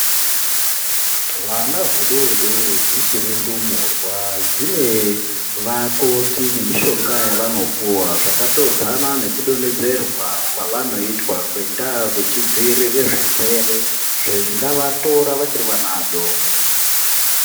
Hwana hudodori dzichiri ndumurwa dzine vakoti nemishonga yavanopuva. Zvakatodzana nekudonhedzerwa kwavanoitwa ngendaa vechidzirira zvirwere zvingavatora vachiri vana vadoko.